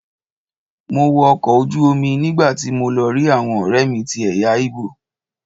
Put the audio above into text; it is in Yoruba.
Mo wọ ọkọ̀ ojú omi nígbàtí mo lọ rí àwọn ọ̀rẹ́mi tí ẹ̀yà igbo.